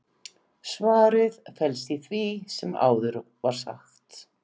svarið felst í því sem áður var sagt